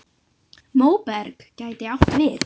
Móberg gæti átt við